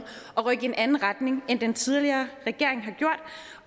og rykke i en anden retning end den tidligere regering